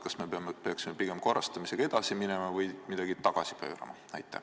Kas me peaksime pigem selle turu korrastamisega edasi minema või midagi tagasi pöörama?